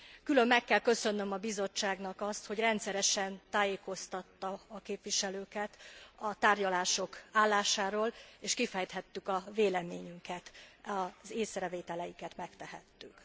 Külön meg kell köszönnöm a Bizottságnak azt, hogy rendszeresen tájékoztatta a képviselőket a tárgyalások állásáról és kifejthettük a véleményünket, az észrevételeinket megtehettük.